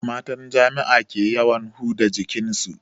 Matan jami'a ke yawan huda jikin su